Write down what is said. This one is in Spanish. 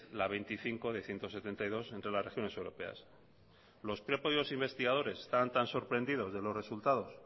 la veinticinco de ciento setenta y dos entre las regiones europeas los propios investigadores estaban tan sorprendidos de los resultados